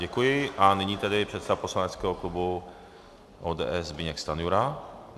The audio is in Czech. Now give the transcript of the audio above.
Děkuji a nyní tedy předseda poslaneckého klubu ODS Zbyněk Stanjura.